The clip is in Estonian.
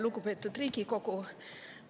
Lugupeetud Riigikogu!